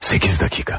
Səkkiz dəqiqə.